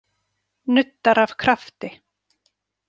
Nuddar af krafti.